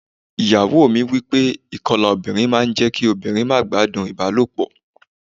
Ìyàwó mi sọ wípé ìkọlà obìnrin máa ń jẹ́ kí obìnrin má gbádùn ìbálòpọ̀.